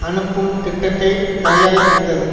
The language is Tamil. அனுப்பும் திட்டத்தை தயாரித்திருந்தது